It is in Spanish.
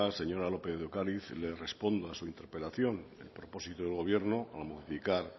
señora lópez de ocariz le respondo a su interpelación el propósito del gobierno para modificar